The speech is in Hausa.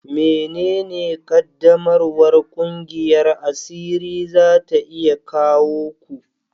Menene ƙaddamarwar ƙungiyar asiri za ta iya kawo ku?